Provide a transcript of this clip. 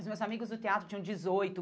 Os meus amigos do teatro tinham dezoito.